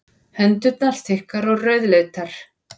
Hendurnar þykkar og rauðleitar.